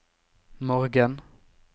morgen